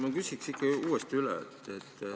Ma küsin ikka uuesti üle.